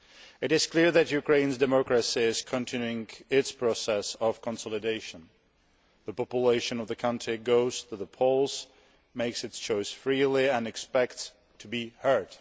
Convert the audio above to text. It is clear that Ukraine's democracy is continuing its process of consolidation. The population of the country goes to the polls, makes its choice freely, and expects to be heard.